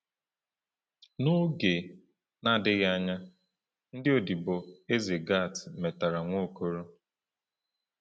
N’oge na-adịghị anya, ndị odibo eze Gat matara Nwaokolo.